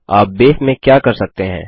आप बेस में क्या कर सकते हैं